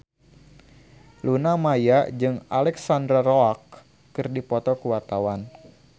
Luna Maya jeung Alexandra Roach keur dipoto ku wartawan